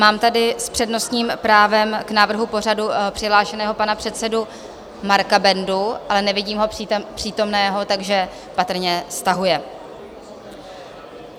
Mám tady s přednostním právem k návrhu pořadu přihlášeného pana předsedu Marka Bendu, ale nevidím ho přítomného, takže patrně stahuje.